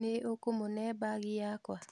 Nĩ ũkũmũne mbagi yakwa?